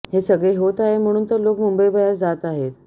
हे सगळे होत आहे म्हणून तर लोक मुंबईबाहेर जात आहेत